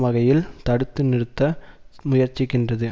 வகையில் தடுத்து நிறுத்த முயற்சிக்கின்றது